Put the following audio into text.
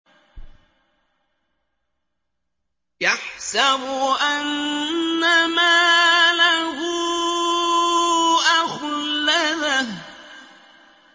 يَحْسَبُ أَنَّ مَالَهُ أَخْلَدَهُ